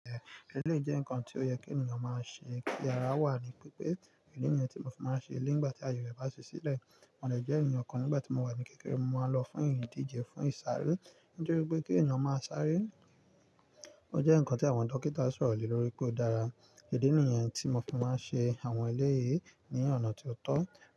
Ẹlẹ́yi jẹ́ nǹkan tó yẹ kí ènìyàn máa ṣe yara wà ee Ìdí nìyẹn tí mo fi máa ń ṣe lè nígbà tí ayere bá sílẹ̀. Mo lè jẹ́ ènìyàn kan nígbà tí mo wà ní kékeré, mo máa ń lọ fún ìdije, fún ìṣàárè. Nítorí pé kí ènìyàn máa sáré ó jẹ́ nǹkan tí àwọn dókítà ṣòro le lórí pé ó dára. Ìdí nìyẹn tí mo fi máa ń ṣe àwọn eléyìí ní ọ̀nà tó tọ́